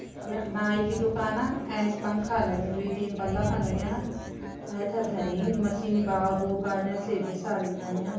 यख नाई की दुकाना एंच पंखा लग्युं दुई तीन बल्ब लग्यां ऐथर धरीं मशीन बाल बूल काटने शेविंग शेविंग कन्या।